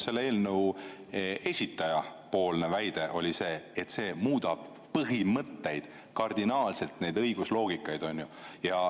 Eelnõu esitleja väide oli, et see muudab kardinaalselt põhimõtteid, õigusloogikat.